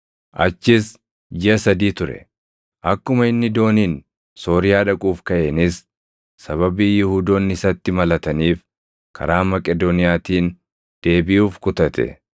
achis jiʼa sadii ture. Akkuma inni dooniin Sooriyaa dhaquuf kaʼeenis sababii Yihuudoonni isatti malataniif karaa Maqedooniyaatiin deebiʼuuf kutate.